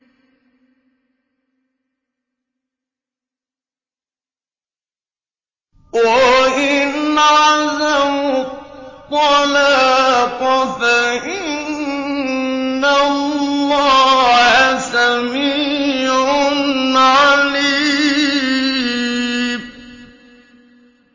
وَإِنْ عَزَمُوا الطَّلَاقَ فَإِنَّ اللَّهَ سَمِيعٌ عَلِيمٌ